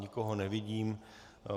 Nikoho nevidím.